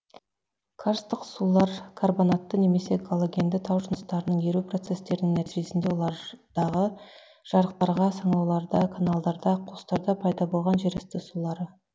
карстық сулар карбонатты немесе галогенді тау жыныстарының еру процестерінің нәтижесінде олардағы жарықтарда саңылауларда каналдарда қуыстарда пайда болған жер асты сулары